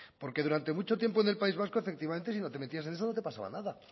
porque durante mucho tiempo en el país vasco efectivamente si no te metías en eso no te pasaba nada